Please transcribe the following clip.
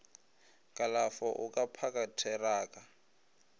kalafo o ka phaka theraka